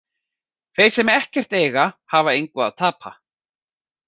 Þeir sem ekkert eiga, hafa engu að tapa.